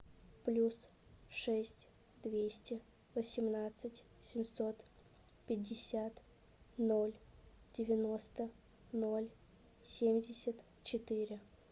плюс шесть двести восемнадцать семьсот пятьдесят ноль девяносто ноль семьдесят четыре